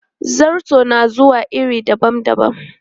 Zarto na zuwa a iri dabam dabam.